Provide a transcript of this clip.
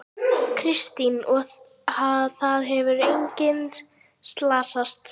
Kristinn: Og það hefur enginn slasast?